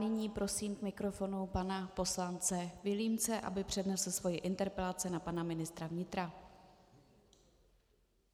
Nyní prosím k mikrofonu pana poslance Vilímce, aby přednesl svoji interpelaci na pana ministra vnitra.